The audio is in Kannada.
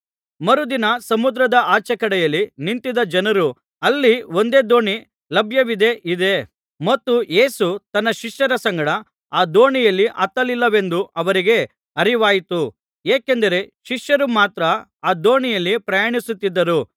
ಮರುದಿನ ಸಮುದ್ರದ ಆಚೇಕಡೆಯಲ್ಲಿ ನಿಂತಿದ್ದ ಜನರು ಅಲ್ಲಿ ಒಂದೇ ದೋಣಿ ಲಭ್ಯವಿದೆ ಇದೆ ಮತ್ತು ಯೇಸು ತನ್ನ ಶಿಷ್ಯರ ಸಂಗಡ ಆ ದೋಣಿಯಲ್ಲಿ ಹತ್ತಲಿಲ್ಲವೆಂದೂ ಅವರಿಗೆ ಅರಿವಾಯಿತು ಏಕೆಂದರೆ ಶಿಷ್ಯರು ಮಾತ್ರ ಆ ದೋಣಿಯಲ್ಲಿ ಪ್ರಯಾಣಿಸುತ್ತಿದ್ದರು